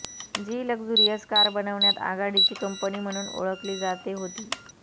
जी luxurious car बनवण्यात आघाडीची company म्हणून ओळखली जाते होती